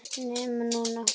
NEMA NÚNA!!!